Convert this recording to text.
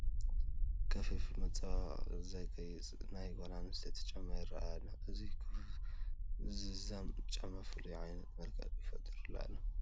ክፈፉ ብመፀባበቒ ዘግየፀ ናይ ጓል ኣነስተይቲ ጫማ ይርአ ኣሎ፡፡ እዚ ናይ ክፈፉ ዝምዛም ነቲ ጫማ ፍሉይ ዓይነት መልክዕ ፈጢሩሉ ኣሎ፡፡